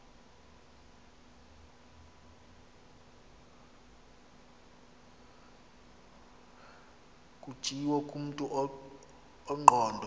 kutshiwo kumntu ongqondo